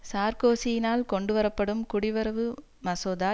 சார்க்கோசியினால் கொண்டு வரப்படும் குடிவரவு மசோதா